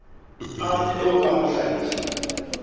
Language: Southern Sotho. a puo ka ho hlahisa